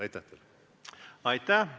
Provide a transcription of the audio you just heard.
Aitäh!